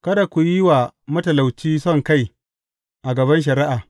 Kada ku yi wa matalauci sonkai a gaban shari’a.